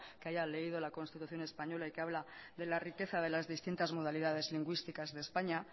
que haya leído la constitución española y que habla de la riqueza de las distintas modalidades lingüísticas de españa